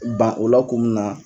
Ban o la kun min na